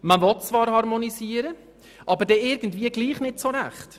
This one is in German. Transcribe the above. Man will zwar Harmonisieren, aber dann irgendwie doch nicht so recht.